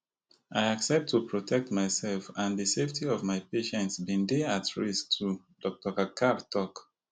i accept to protect myself and di safety of my patients bin dey at risk too dr kakkar tok